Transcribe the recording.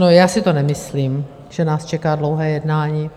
No, já si to nemyslím, že nás čeká dlouhé jednání.